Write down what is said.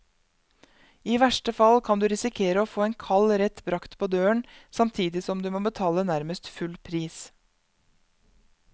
I verste fall kan du risikere å få en kald rett bragt på døren, samtidig som du må betale nærmest full pris.